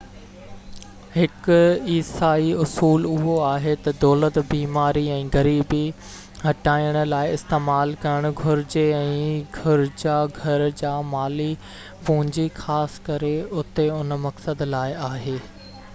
هڪ عيسائي اصول اهو آهي تہ دولت بيماري ۽ غريبي هٽائڻ لاءِ استعمال ڪرڻ گهرجي ۽ گرجا گهر جا مالي پونجي خاص ڪري اتي ان مقصد لاءِ آهي